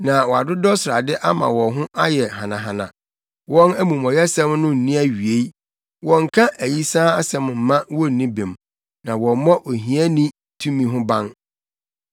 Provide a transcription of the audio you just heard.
na wɔadodɔ srade ama wɔn ho ayɛ hanahana. Wɔn amumɔyɛsɛm no nni awiei; wɔnnka ayisaa asɛm mma wonni bem, na wɔmmɔ ahiafo tumi ho ban.